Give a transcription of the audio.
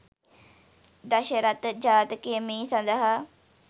දශරථ ජාතකය මේ සඳහා